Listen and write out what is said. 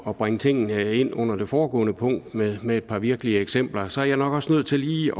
at bringe tingene ind under det foregående punkt med med et par virkelige eksempler og så er jeg nok også nødt til lige